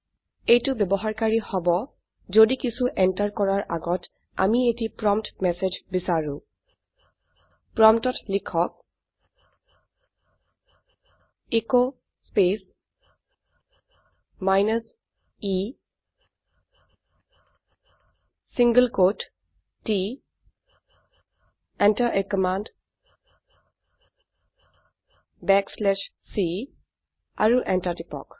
এইটো ব্যবহাৰকাৰী হব যদি কিছু এন্টাৰ কৰাৰ আগত আমি এটি প্ৰম্পট মেচেজ বিচাৰো প্ৰম্পটত লিখক s space minus e single quote t Enter a command backslash c আৰু এন্টাৰ টিপক